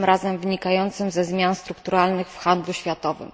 Tym razem wynikającym ze zmian strukturalnych w handlu światowym.